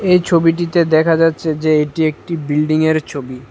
এই ছবিটিতে দেখা যাচ্ছে যে এটি একটি বিল্ডিংয়ের ছবি।